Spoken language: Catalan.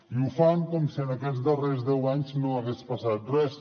i ho fan com si en aquests darrers deu anys no hagués passat res